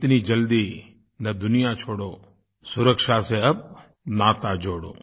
इतनी जल्दी न दुनिया छोड़ो सुरक्षा से अब नाता जोड़ो